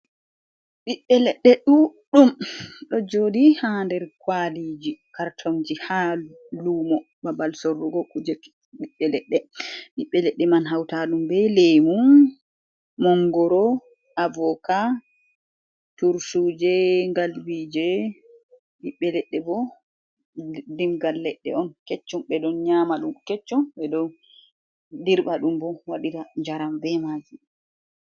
Ɓiɓɓe leɗɗe ɗuɗɗum ɗo jooɗi ha nder kwaliji kartonji ha lumo babal sorrugo kuje ɓiɓɓe leɗɗe. Ɓiɓɓe leɗɗe man hauta ɗum be lemu, mongoro, avoka, turtuje, galbije, ɓiɓɓe leɗɗe bo dingal leɗɗe on kecchum ɓeɗon nyama ɗum kecchum ɓeɗo dirɓa ɗum bo waɗira njaram be majum.